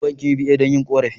Zan je bankin"UBA" don yin korafi.